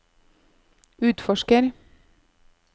utforsker